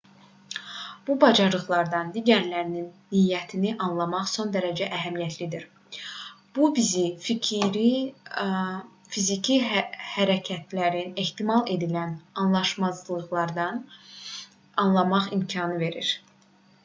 bu bacarıqlardan digərlərinin niyyətini anlamaq son dərəcə əhəmiyyətlidir bu bizə fiziki hərəkətlərin ehtimal edilən anlaşmazlıqlarını anlamaq imkanı verir